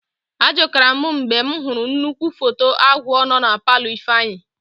Akụjara m mgbe m hụrụ nnukwu foto agwọ nọ na palọ Ifeanyị.